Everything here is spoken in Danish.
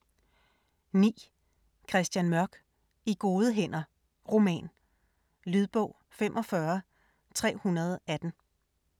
9. Mørk, Christian: I gode hænder: roman Lydbog 45318